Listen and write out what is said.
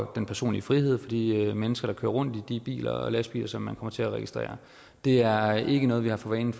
den personlige frihed for de mennesker der kører rundt i de biler og lastbiler som man kommer til at registrere det er ikke noget vi har for vane